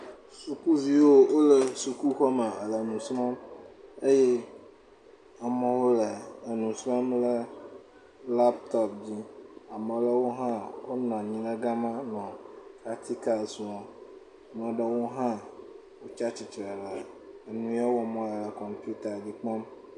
Sukuviwo wole sukuxɔ me le nu srɔm eye amɔwo le enu srɔm le laptop dzi, amewo hã wonɔ anyi le gama nɔ pratikals wɔm, amɔɖɔwo hã wotse atsitsre le enu ye wɔmɔ le le kɔmputa dzi kpɔm.